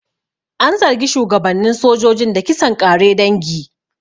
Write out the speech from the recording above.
An zargi shugabannin sojojin da kisan ƙare dangi.